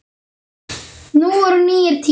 Nú eru nýir tímar.